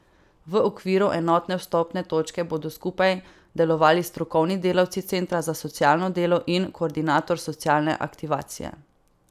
V okviru enotne vstopne točke bodo skupaj delovali strokovni delavci centra za socialno delo in koordinator socialne aktivacije.